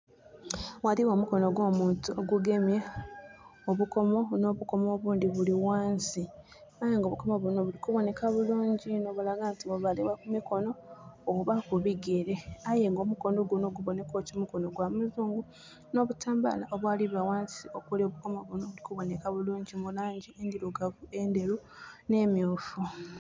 Ghaliwo omukono ogwo muntu ogugemye obukomo no bukomo obundi buli wansi aye nga obukomo buno buli kuboneka bulungi inho. Bulaga nti buvalibwa ku mikono oba ku bigere. Aye omukono guno guboneka oti mukono gwa muzungu, no butambala obwalibwa wansi okuli obukomo buno buli kuboneka bulungi mu langi endirugavu, enderu ne myufu